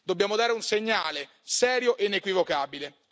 Dobbiamo dare un segnale serio e inequivocabile.